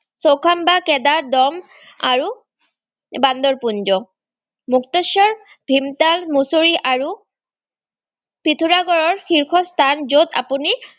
চৌখামবা, কেডাৰদম, আৰু বান্দৰপুঞ্জ। মুক্তেশ্বৰ, ভীমতাল, মুছৰি, আৰু পৃথোৰাগড়ৰ শীৰ্ষস্থান য'ত আপুনি